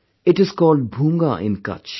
It is called Bhoonga in Kutch